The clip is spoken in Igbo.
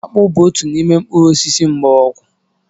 Akpu bu otu n'ime mkpuru osisi mgbọrọgwụ